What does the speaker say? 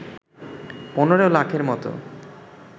১৫ লাখের মতো